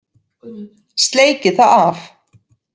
Sleikir það af.